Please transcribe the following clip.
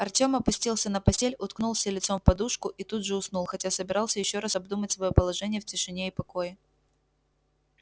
артём опустился на постель уткнулся лицом в подушку и тут же уснул хотя собирался ещё раз обдумать своё положение в тишине и покое